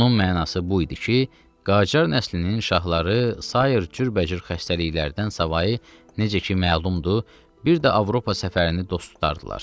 Bunun mənası bu idi ki, Qacar nəslinin şahları sair cürbəcür xəstəliklərdən savayı, necə ki məlumdur, bir də Avropa səfərini dost tutardılar.